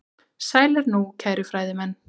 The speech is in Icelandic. Sælir nú, kæru fræðimenn.